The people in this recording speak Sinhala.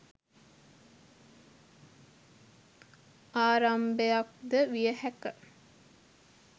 ආරම්භයක්ද විය හැක